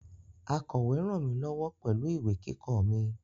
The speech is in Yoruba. Akọ̀we ràn mí lọ́wọ́ pẹ̀lú ìwé kíkọ mi